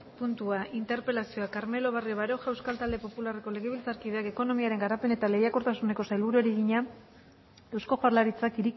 puntua interpelazioa carmelo barrio baroja euskal talde popularreko legebiltzarkideak ekonomiaren garapen eta lehiakortasuneko sailburuari egina eusko jaurlaritzak